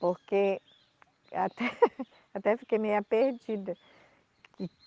Porque até até fiquei meia perdida.